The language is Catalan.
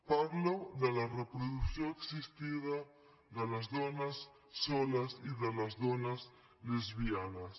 parlo de la reproducció assistida de les dones soles i de les dones lesbianes